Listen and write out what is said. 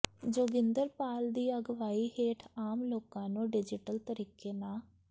ਜੋਗਿੰਦਰ ਪਾਲ ਦੀ ਅਗਵਾਈ ਹੇਠ ਆਮ ਲੋਕਾਂ ਨੂੰ ਡਿਜੀਟਲ ਤਰੀਕੇ ਨਾ